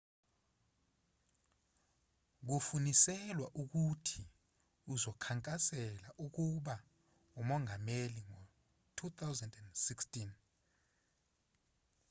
kufuniselwa ukuthi uzokhankasela ukuba umongameli ngo-2016